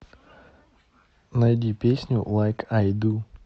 найди песню лайк ай ду